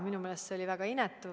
Minu meelest see oli väga inetu.